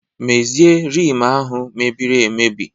Mezie Rim ahụ mebiri emebi!